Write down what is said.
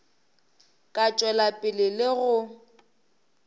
ka tšwela pele le go